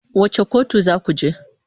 Wace kotu za ku je?